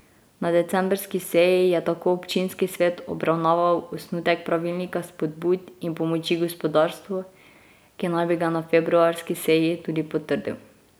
Na decembrski seji je tako občinski svet obravnaval osnutek pravilnika spodbud in pomoči gospodarstvu, ki naj bi ga na februarski seji tudi potrdil.